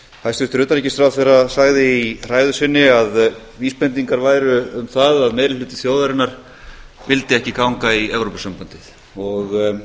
hæstvirtur utanríkisráðherra sagði í ræðu sinni að vísbendingar væru um það að meiri hluti þjóðarinnar vildi ekki ganga í evrópusambandið og